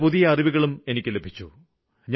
പല പുതിയ അറിവുകളും എനിക്ക് ലഭിച്ചു